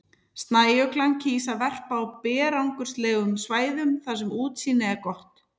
Snæuglan kýs að verpa á berangurslegum svæðum þar sem útsýni er gott.